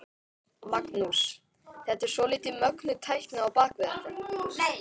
Magnús: Þetta er svolítið mögnuð tækni á bak við þetta?